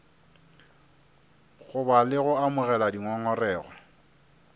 goba le go amogela dingongorego